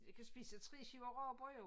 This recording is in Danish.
Jeg kan spise 3 skiver rugbrød og